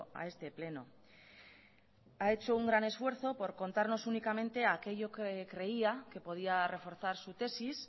a este pleno a hecho un gran esfuerzo por contarnos únicamente aquello que creía que podía reforzar su tesis